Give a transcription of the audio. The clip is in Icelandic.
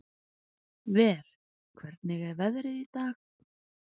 Ver, hvernig er veðrið í dag?